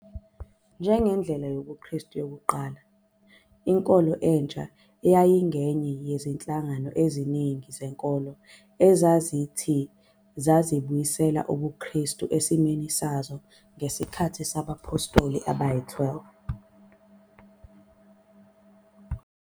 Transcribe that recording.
Njengendlela yobuKristu yokuqala, inkolo entsha yayingenye yezinhlangano eziningi zenkolo ezithi zazibuyisela ubuKrestu esimeni sazo ngesikhathi sabaPhostoli Abayi-12.